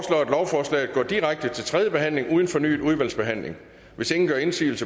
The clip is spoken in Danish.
lovforslaget går direkte til tredje behandling uden fornyet udvalgsbehandling hvis ingen gør indsigelse